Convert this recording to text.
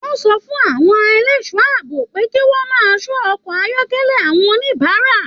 Wọn sọ fún àwọn ẹlẹṣọ ààbò pé kí wọn máa ṣọ ọkọ ayọkẹlẹ àwọn oníbárà.